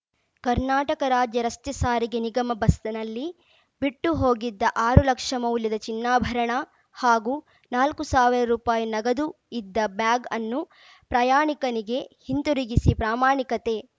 ಕರ್ನಾಟಕ ರಾಜ್ಯ ರಸ್ತೆ ಸಾರಿಗೆ ನಿಗಮ ಬಸ್‌ನಲ್ಲಿ ಬಿಟ್ಟು ಹೋಗಿದ್ದ ಆರು ಲಕ್ಷ ಮೌಲ್ಯದ ಚಿನ್ನಾಭರಣ ಹಾಗೂ ನಾಲ್ಕು ಸಾವಿರ ರುಪಾಯಿ ನಗದು ಇದ್ದ ಬ್ಯಾಗ್‌ ಅನ್ನು ಪ್ರಯಾಣಿಕನಿಗೆ ಹಿಂದಿರುಗಿಸಿ ಪ್ರಾಮಾಣಿಕತೆ